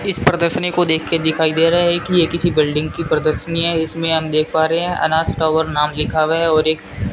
इस प्रदर्शनी को देखे दिखाई दे रहा है की ये किसी बिल्डिंग की प्रदर्शनी है इसमें हम देख पा रहे है अनास टावर नाम लिखा हुआ है और एक --